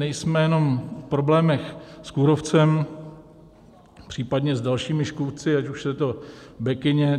Nejsme jenom v problémech s kůrovcem, případně s dalšími škůdci, ať už je to bekyně,